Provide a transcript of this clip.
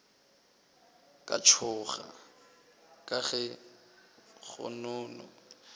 ka tšhoga ka ge kgonono